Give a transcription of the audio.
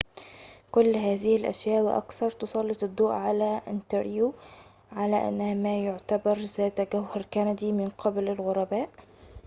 كل هذه الأشياء وأكثر تسلط الضوء على أنتاريو على أنها ما يُعتبر ذات جوهر كندي من قبل الغرباء